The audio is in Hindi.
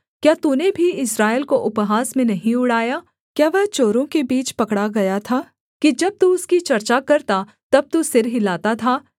क्या तूने भी इस्राएल को उपहास में नहीं उड़ाया क्या वह चोरों के बीच पकड़ा गया था कि जब तू उसकी चर्चा करता तब तू सिर हिलाता था